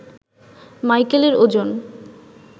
মাইকেলের ওজন